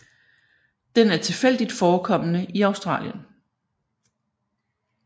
Den er tilfældigt forekommende i Australien